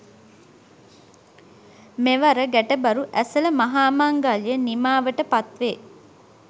මෙවර ගැටබරු ඇසළ මහා මංගල්‍යය නිමාවට පත්වේ